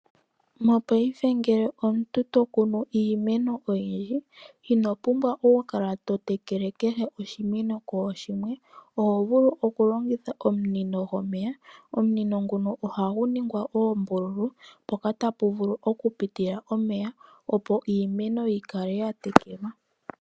Mopaife ngele omuntu to kunu iimeno oyindji, ino pumbwa okukala to tekele kehe oshimeno kooshimwe, oho vulu okulongitha omunino gomeya. Omunino nguno ohagu ningwa oombululu, mpoka tapu vulu okupitila omeya, opo iimeno yi kale ya tekelwa.